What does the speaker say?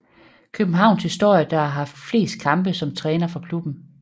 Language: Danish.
Københavns historie der har haft flest kampe som træner for klubben